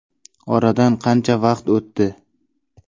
Oradan qancha vaqt o‘tdi.